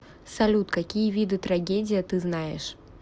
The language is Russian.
салют какие виды трагедия ты знаешь